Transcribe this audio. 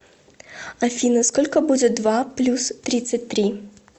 афина сколько будет два плюс тридцать три